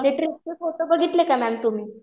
ते ट्रिपचे फोटो बघितले का मॅम तुम्ही?